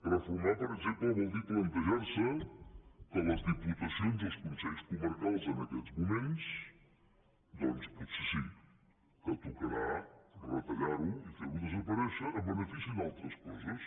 reformar per exemple vol dir plantejar se que les diputacions i els consells comarcals en aquests moments doncs potser sí que tocarà retallar ho i ferho desaparèixer en benefici d’altres coses